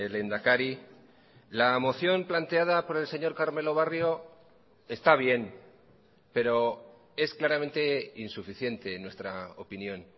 lehendakari la moción planteada por el señor carmelo barrio está bien pero es claramente insuficiente en nuestra opinión